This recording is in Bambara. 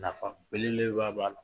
Nafa belebeleba b'a la.